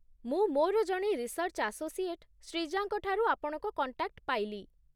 ମୁଁ ମୋର ଜଣେ ରିସର୍ଚ୍ଚ ଆସୋସିଏଟ୍ ଶ୍ରୀଜାଙ୍କଠାରୁ ଆପଣଙ୍କ କଣ୍ଟାକ୍ଟ ପାଇଲି ।